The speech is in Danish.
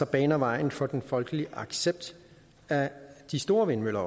baner vejen for den folkelige accept af de store vindmøller